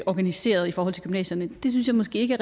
organiseret i forhold til gymnasierne synes jeg måske ikke